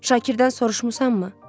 Şakirdən soruşmusanmı?